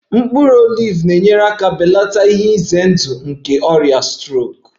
Mkpụrụ oliv na-enyere aka belata ihe ize ndụ nke ọrịa strok